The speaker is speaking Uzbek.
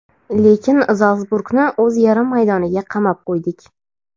lekin "Zalsburg"ni o‘z yarim maydoniga qamab qo‘ydik";.